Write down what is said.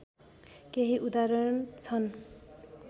केही उदाहरण छन्